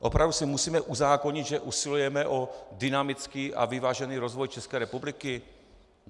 Opravdu si musíme uzákonit, že usilujeme o dynamický a vyvážený rozvoj České republiky?